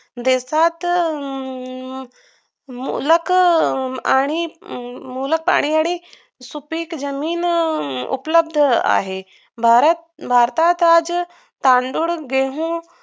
देशात हम्म मूलांक आणि मुबलक पाणी आणि सुपीक जमीन उपलब्ध आहे भारत भारताचाच तांदूळ गहु